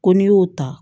Ko n'i y'o ta